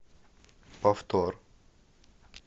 повтор